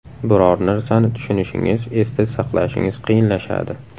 Biror narsani tushunishingiz, esda saqlashingiz qiyinlashadi.